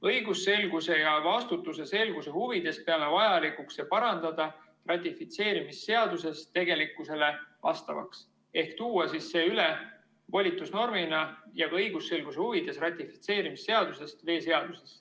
Õigusselguse ja vastutuse selguse huvides peame vajalikuks see parandada ratifitseerimisseaduses tegelikkusele vastavaks ehk tuua see üle volitusnormina ja ka õigusselguse huvides ratifitseerimisseadusest veeseadusesse.